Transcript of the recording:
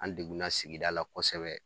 An degunna sigida la kosɛbɛ